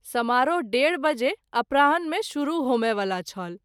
समारोह १.३० बजे अपराह्न मे शुरू होमए वाला छल।